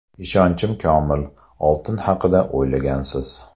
Ishonchim komil, oltin haqida o‘ylagansiz.